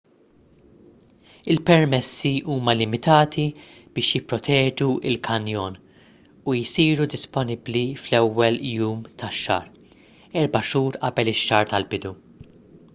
il-permessi huma limitati biex jipproteġu l-kanjon u jsiru disponibbli fl-ewwel jum tax-xahar erba' xhur qabel ix-xahar tal-bidu